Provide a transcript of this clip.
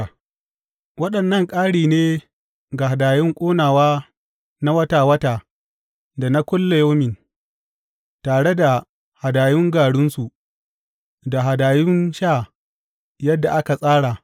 Waɗannan ƙari ne ga hadayun ƙonawa na wata wata da na kullayaumi, tare da hadayun garinsu da hadayun sha yadda aka tsara.